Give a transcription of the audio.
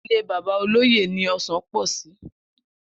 Ilé bàbá olóyè ni o̩sàn pò̩ sí